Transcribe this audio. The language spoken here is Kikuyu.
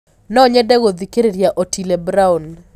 no nyende gũthĩkĩrĩrĩa otile brown